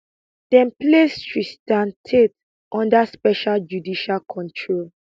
dem place tristan tate under special judicial control